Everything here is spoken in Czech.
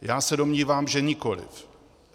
Já se domnívám, že nikoliv.